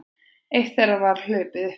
Eitt þeirra var hlaupið uppi